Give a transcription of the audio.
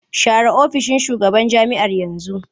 Share ofishin shugaban jami'ar yanzu!